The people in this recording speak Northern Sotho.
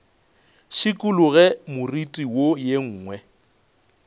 šikologe moriti wo ye nngwe